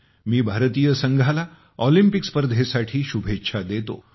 मी भारतीय संघाला ऑलिम्पिक स्पर्धेसाठी शुभेच्छा देतो